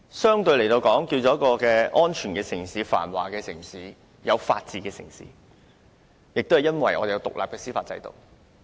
香港能夠成為一個相對安全、繁華，有法治的城市，就是因為我們有獨立的司法制度。